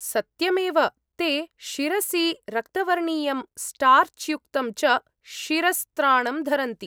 सत्यमेव! ते शिरसि रक्तवर्णीयं, स्टार्च् युक्तं च शिरस्त्राणं धरन्ति।